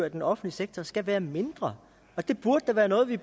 i den offentlige sektor skal være mindre det burde da være noget vi